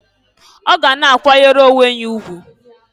Ọ ga na-akwanyere onwe ya ugwu.